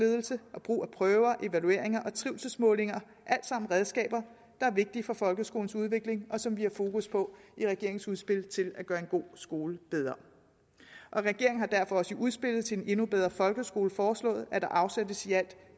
ledelse og brug af prøver evalueringer og trivselsmålinger alt sammen redskaber der er vigtige for folkeskolens udvikling og som vi har fokus på i regeringens udspil til at gøre en god skole bedre regeringen har derfor også i udspillet til en endnu bedre folkeskole foreslået at der afsættes i alt